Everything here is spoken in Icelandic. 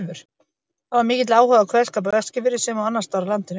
Það var mikill áhugi á kveðskap á Eskifirði sem og annars staðar á landinu.